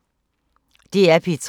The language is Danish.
DR P3